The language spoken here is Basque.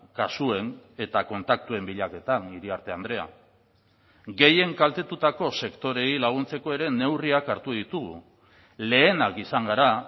kasuen eta kontaktuen bilaketan iriarte andrea gehien kaltetutako sektoreei laguntzeko ere neurriak hartu ditugu lehenak izan gara